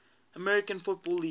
american football league